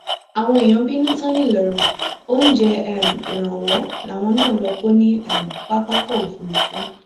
àwọn èèyàn bínú tán ńìlọrin oúnjẹ um ìrànwọ làwọn náà lọọ kọ ní um pápákọ òfúrufú